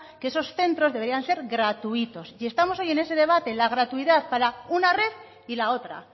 que esos centros deberían ser gratuitos y estamos hoy en ese debate en la gratuidad para una red y la otra